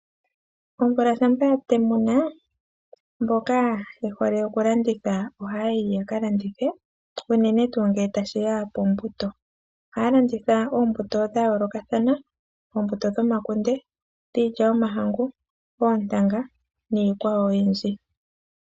Omvula shampa ya temuna mboka ye hole okulanditha ohaya yi ya ka landithe unene tuu ngele tashi ya pombuto. Ohaya landitha oombuto dha yoolokathana. Oombuto dhomakunde, dhiilya yomahangu, oontanga niikwawo oyindji.